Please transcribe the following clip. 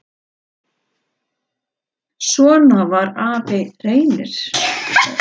Jón Karl, Signý og Helgi.